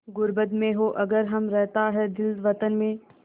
ग़ुर्बत में हों अगर हम रहता है दिल वतन में